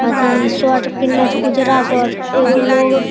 अथी शर्ट पिहना छै उजरा शर्ट एगो लोग --